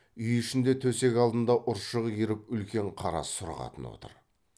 үй ішінде төсек алдында ұршық иіріп үлкен қара сұр қатын отыр